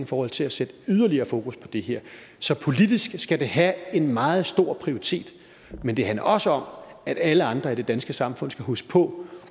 forhold til at sætte yderligere fokus på det her så politisk skal det have en meget stor prioritering men det handler også om at alle andre i det danske samfund skal huske på